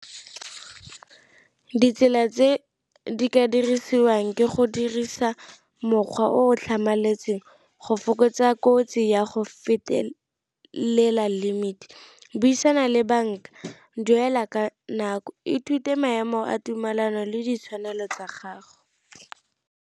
Ditsela tse di ka dirisiwang ke go dirisa mokgwa o tlhamaletseng go fokotsa kotsi ya go fetelela limit, buisana le banka, duela ka nako, ithute maemo a tumelano le ditshwanelo tsa gago.